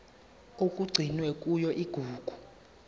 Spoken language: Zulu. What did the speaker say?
okugcinwe kuyona igugu